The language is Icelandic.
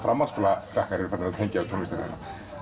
framhaldsskólakrakkar tengja við tónlistina þína